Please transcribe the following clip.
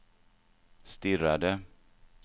stirrade